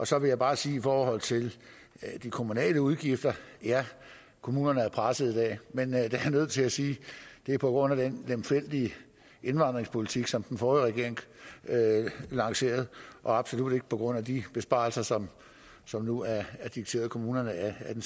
så vil jeg bare sige i forhold til de kommunale udgifter at ja kommunerne er presset i dag men jeg er nødt til at sige at det er på grund af den lemfældige indvandringspolitik som den forrige regering lancerede og absolut ikke på grund af de besparelser som som nu er dikteret kommunerne af den